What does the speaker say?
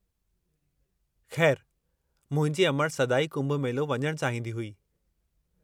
खै़रु, मुंहिंजी अमड़ि सदाईं कुंभ मेलो वञणु चाहींदी हुई।